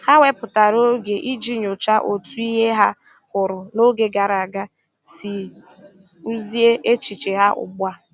Ha wepụtara oge iji nyochaa otu ihe ha hụrụ n'oge gara aga si kpụzie echiche ha ugbu a.